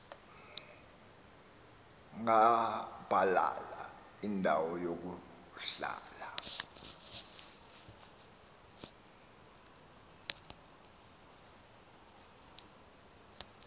gabalala indawo yokuhlala